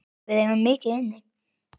Við eigum mikið inni.